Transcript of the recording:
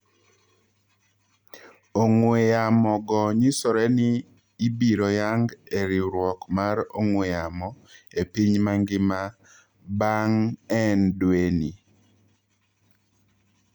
Ong'ww yamo go nyisoreni ibiroyang e riuruok mar ong''wee yamo epiny mangima baang'en dwee ni.